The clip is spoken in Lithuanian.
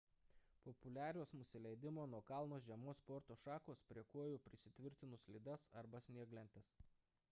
populiarios nusileidimo nuo kalno žiemos sporto šakos prie kojų prisitvirtinus slides arba snieglentes